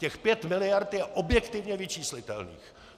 Těch pět miliard je objektivně vyčíslitelných.